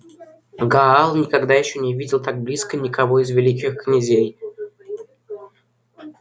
гаал никогда ещё не видел так близко никого из великих князей